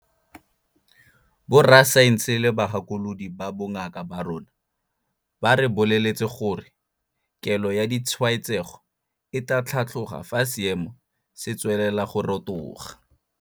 Borasaense le bagakolodi ba bongaka ba rona ba re boleletse gore kelo ya ditshwaetsego e tla tlhatloga fa seemo se tswelela go rotoga.